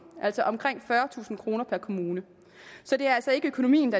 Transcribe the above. altså omkring fyrretusind kroner per kommune så det er altså ikke økonomien